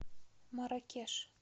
марракеш